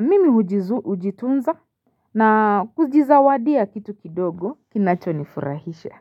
mimi hujitunza na kujizawadia kitu kidogo kinachonifurahisha.